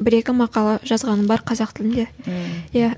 бір екі мақала жазғаным бар қазақ тілінде мхм иә